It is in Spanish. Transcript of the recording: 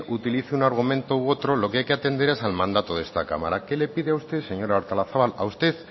utiliza un argumento u otro lo que hay que atender es al mandato de esta cámara que le pide a usted señora artolazabal a usted